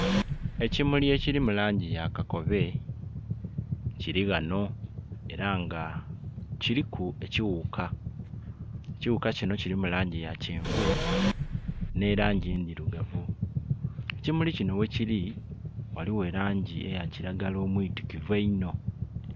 Ekimuli ekili mu langi ya kakobe kiri ghano era nga kiliku ekighuka, ekighuka kino kilimu langi ya kyenvu ne langi endhirugavu. Ekimuli kino ghekili ghaligho elangi eya kiragala omwitikivu einho.